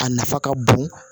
A nafa ka bon